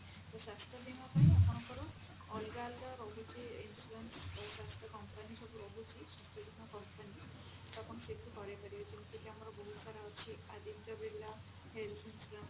ତ ସ୍ୱାସ୍ଥ୍ୟ ବୀମା ପାଇଁ ଆପଣଙ୍କର ଅଲଗା ଅଲଗା ରହୁଛି insurance ଯଉ company ସବୁ ରହୁଛି ବିଭିନ୍ନ company ତ ଆପଣ ସେଇଠି ମଧ୍ୟ କରେଇପାରିବେ ତ ଯେମତିକି ଆମର ବହୁତ ସାରା ଅଛି Aditya Birla health insurance